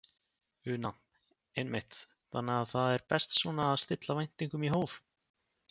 Una: Einmitt, þannig að það er best svona að stilla væntingunum í hóf?